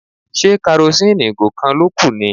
Ṣé karosíìnì ìgò kan ló kù ni?